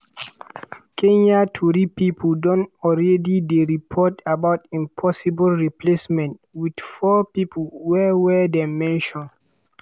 kenya tori pipo don already dey report about im possible replacements wit four pipo wey wey dem mention: